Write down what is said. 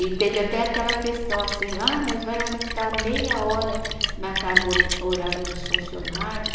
E teve até aquela questão, assim, ah, mas vai aumentar meia hora na carga olha, horária dos funcionários.